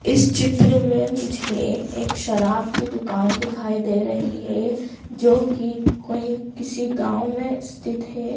इस चित्र में मुझे एक शराब की दुकान दिखाई दे रही है जो की कोई किसी गांव में स्थित है।